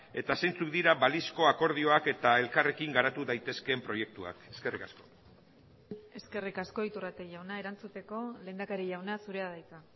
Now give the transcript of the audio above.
eta zeintzuk dira balizko akordioak eta elkarrekin garatu daitezkeen proiektuak eskerrik asko eskerrik asko iturrate jauna erantzuteko lehendakari jauna zurea da hitza